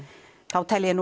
þá tel ég